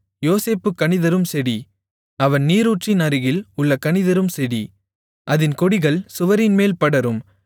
யோசேப்பு கனிதரும் செடி அவன் நீரூற்றின் அருகில் உள்ள கனிதரும் செடி அதின் கொடிகள் சுவரின்மேல் படரும்